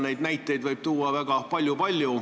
Neid näiteid võib tuua väga palju.